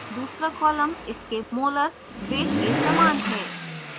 दूसरा column इसके molar weight के समान है